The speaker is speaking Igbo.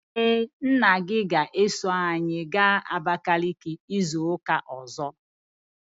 Ee, nna gị ga-eso anyị gaa Abakaliki izu ụka ọzọ.